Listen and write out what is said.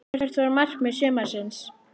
Hvert var markmið sumarsins?